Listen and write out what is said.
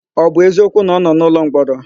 Ọ bụ eziokwu na ọ nọ n'ụlọmkpọrọ?